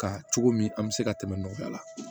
Ka cogo min an bɛ se ka tɛmɛ nɔfɛ a la